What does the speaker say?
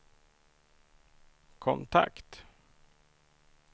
kontakt